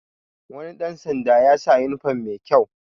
Wani ɗan sanda ya sa yunifom mai kyau